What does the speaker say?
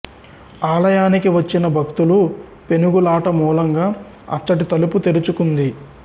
ఆలయానికి వచ్చిన భక్తులు పెనుగులాట మూలంగా అచ్చటి తలుపు తెరుచుకుంది